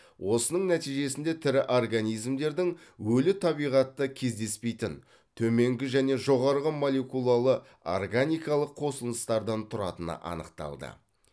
осының нәтижесінде тірі организмдердің өлі табиғатта кездеспейтін төменгі және жоғарғы молекулалы органикалық қосылыстардан тұратыны анықталды